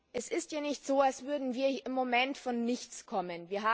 Es ist ja nicht so, als würden wir im Moment von nichts kommen.